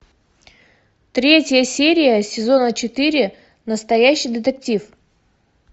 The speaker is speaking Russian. третья серия сезона четыре настоящий детектив